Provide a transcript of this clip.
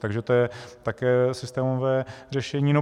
Takže to je také systémové řešení.